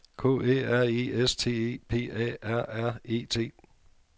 K Æ R E S T E P A R R E T